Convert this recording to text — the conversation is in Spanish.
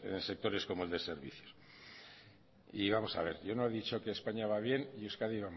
en sectores como el de servicios y vamos a ver yo no he dicho que españa va bien y euskadi